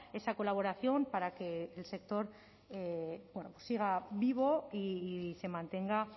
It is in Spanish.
esa colaboración para que el sector siga vivo y se mantenga